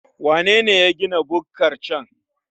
Wanene ya gina bukkar can?